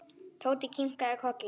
Tóti kinkaði kolli.